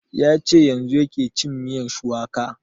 Ya ce yanzun yake cin miyan shuwaka